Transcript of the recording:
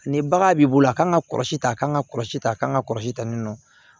Ni bagan b'i bolo a kan ka kɔlɔsi ta a kan ka kɔlɔsi ta kan ka kɔlɔsi tan ni nɔ